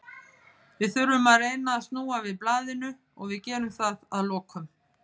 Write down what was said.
Við þurfum að reyna að snúa við blaðinu og við gerum það að lokum.